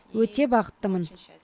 өте бақыттымын